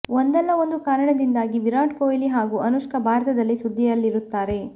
ಒಂದಲ್ಲ ಒಂದು ಕಾರಣದಿಂದಾಗಿ ವಿರಾಟ್ ಕೊಹ್ಲಿ ಹಾಗೂ ಅನುಷ್ಕಾ ಭಾರತದಲ್ಲಿ ಸುದ್ದಿಯಲ್ಲಿರುತ್ತಾರೆ